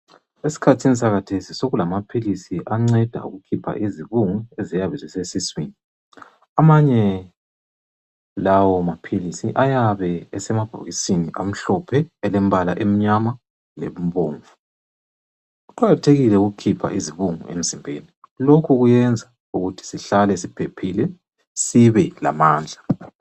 Esikhathini sakhathesi sokulamaphilisi anceda ukukhipha izibungu eziyabe zisesiswini amanye lawo maphilisi ayabe esemabhokisini amhlophe alembala emnyama lebomvu. Kuqakathekile ukukhipha izibungu emzimbeni lokhu kuyenza ukuthi sihlale siphephile sibe lamandla.